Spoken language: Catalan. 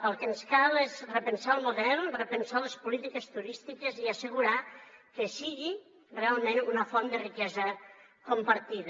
el que ens cal és repensar el model repensar les polítiques turístiques i assegurar que sigui realment una font de riquesa compartida